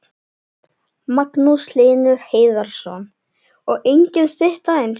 Magnús Hlynur Hreiðarsson: Og engin stytta eins?